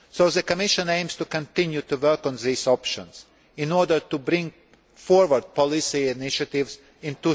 The Commission aims to continue to work on these options in order to bring forward policy initiatives